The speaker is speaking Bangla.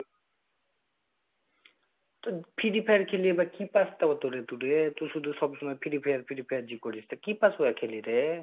তো ফিরি fire খেলে কি পাস্ তও তোরা তোদের ? কি শুধু সবসময় ফিরি fire ফিরি fire যে করিস তা কি পাস্ খেলে ঐগুলো খেলে রে